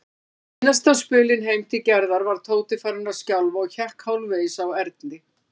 Seinasta spölinn heim til Gerðar var Tóti farinn að skjálfa og hékk hálfvegis á Erni.